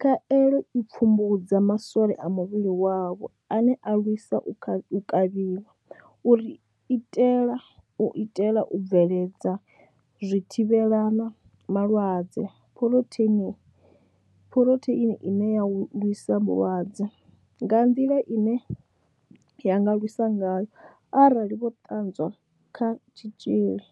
Khaelo i pfumbudza ma swole a muvhili wavho ane a lwisa u kavhiwa, u itela u bveledza zwithivhela malwadze phurotheini phurotheini ine ya lwisa malwadze nga nḓila ine ya nga lwisa ngayo arali vho ṱanzwa kha tshitzhili.